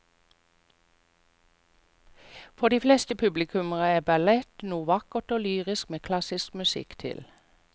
For de fleste publikummere er ballett noe vakkert og lyrisk med klassisk musikk til.